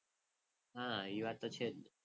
હા એ વાત તો છે જ.